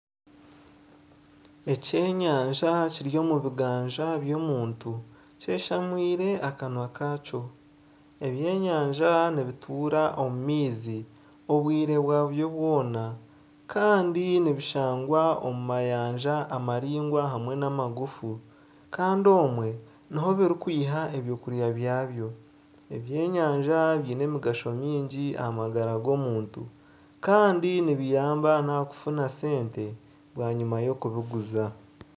Ekyenyanja kiri omu bganja by'omuntu kyeshamire akanwa kakyo. Ebyenyanja nibituura omu maizi obwire bwabyo bwona. Kandi nibishangwa omu mayanja amaraingwa hamwe n'amagufu. Kandi omwe nimwo birikwiha ebyokurya byabyo. Ebyenyanja biine emigaho mingiaha magara g'omuntu kandi nibiyamba n'aha kufuna sente bwanyima y'okubiguza.